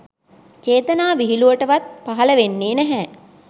චේතනා විහිළුවටවත් පහල වෙන්නේ නැහැ